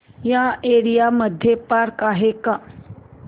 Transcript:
या एरिया मध्ये पार्क आहे का